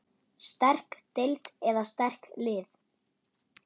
Sterk deild eða sterk lið?